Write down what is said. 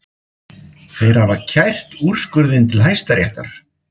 Þeir hafa kært úrskurðinn til Hæstaréttar